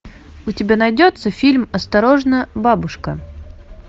у тебя найдется фильм осторожно бабушка